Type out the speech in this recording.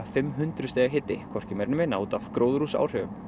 fimm hundruð stiga hiti hvorki meiri né minni út af gróðurhúsaáhrifum